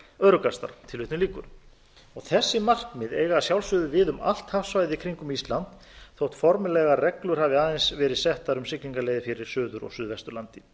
öruggastar þessi markmið eiga að sjálfsögðu við um allt hafsvæðið í kringum ísland þótt formlegar reglur hafi aðeins verið settar um siglingaleiðir fyrir suður og suðvesturlandi